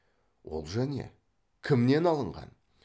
олжа не кімнен алынған